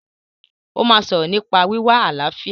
Ó máa sọ̀rọ̀ nípa wíwá àlàáfíà